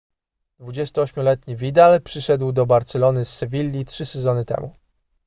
28-letni vidal przyszedł do barcelony z sewilli trzy sezony temu